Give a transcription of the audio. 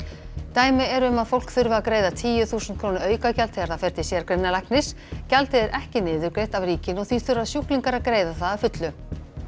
dæmi eru um að fólk þurfi að greiða tíu þúsund króna aukagjald þegar það fer til gjaldið er ekki niðurgreitt af ríkinu og því þurfa sjúklingar að greiða það að fullu